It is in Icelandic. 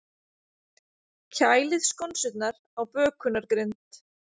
Kælið skonsurnar á bökunargrind.